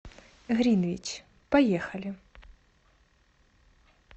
гринвич поехали